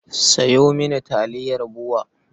Sayo mini taliyar BUA.